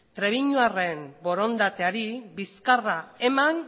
trebiñuarren borondateari bizkarra eman